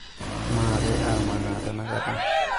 maape amaanaa tenakata